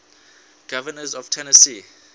governors of tennessee